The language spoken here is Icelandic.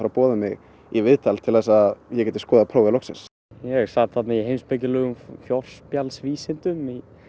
boða mig í viðtal til þess að ég geti skoðað prófið loksins ég sat þarna í heimspekilegum forspjallsvísindum